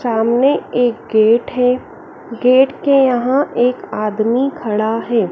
सामने एक गेट है गेट के यहां एक आदमी खड़ा है।